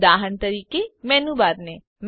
ઉદાહરણ તરીકે મેનૂબારને